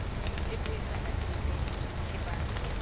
le puisano epe tebang le